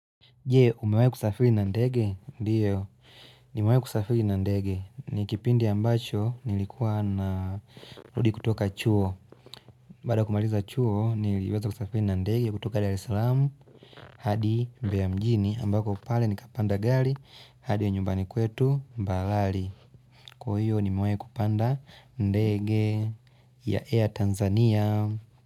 Je, umewai kusafiri na ndege, ndio, nimewai kusafiri na ndege, ni kipindi ambacho nilikuwa narudi kutoka chuo. Bada kumaliza chuo, niliweza kusafiri na ndege ya kutoka daresalam, hadi bea mjini, ambako pale nikapanda gari, hadi ya nyumbani kwetu, mbalali. Kwa hiyo, nimewa kupanda ndege ya Air Tanzania.